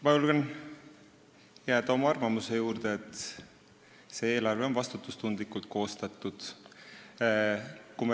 Ma julgen jääda oma arvamuse juurde, et see eelarve on vastutustundlikult koostatud.